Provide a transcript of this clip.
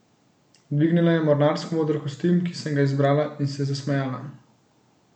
Dvignila je mornarsko moder kostim, ki sem ga izbrala, in se zasmejala.